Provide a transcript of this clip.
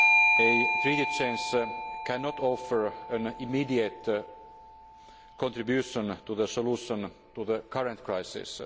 A Treaty change cannot offer an immediate contribution to the solution of the current crisis.